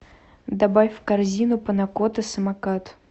добавь в корзину панна котта самокат